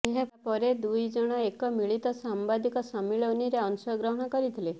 ଏହାପରେ ଦୁଇ ଜଣ ଏକ ମିଳିତ ସାମ୍ବାଦିକ ସମ୍ମିଳନୀରେ ଅଂଶଗ୍ରହଣ କରିଥିଲେ